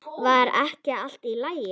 Var ekki allt í lagi?